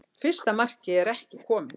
Fyrsta markmið er ekki komið